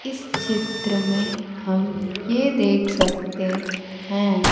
इस चित्र में हम ये देख सकते हैं--